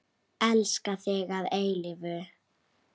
Elska þig að eilífu.